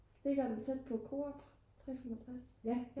ligger den tæt på Coop 365?